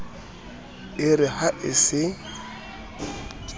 e re ha a se